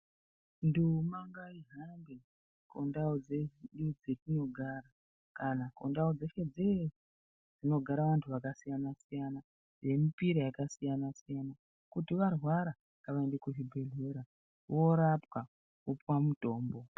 Dhuma ngaihambe kundau dzedu dzatinogara, kana kundau dzese dzese dzinogara antu akasiyanasiyana nemipira yakasiyanasiyana, kuti kana varwara ngavaende kuchibhehlera voorapwa vipiwa mutombo.